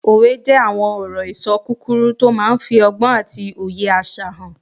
Òwe jẹ́ àwọn ọ̀rọ̀-ìṣọ kúkúrú tó máà ń fi ọgbọ́n àti òye àṣà hàn